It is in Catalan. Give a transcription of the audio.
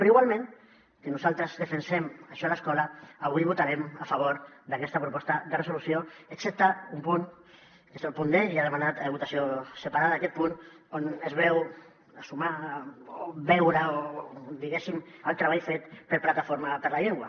però igualment que nosaltres defensem això a l’escola avui votarem a favor d’aquesta proposta de resolució excepte un punt que és el punt d i ja n’he demanat votació separada aquest punt on es ve a sumar o veure diguéssim el treball fet per plataforma per la llengua